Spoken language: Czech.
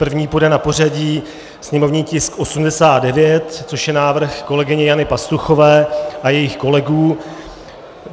První půjde na pořadí sněmovní tisk 89, což je návrh kolegyně Jany Pastuchové a jejích kolegů.